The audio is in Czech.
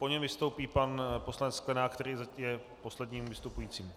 Po něm vystoupí pan poslanec Sklenák, který je zatím posledním vystupujícím.